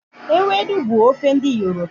Ewedu bu ofe n'di yoruba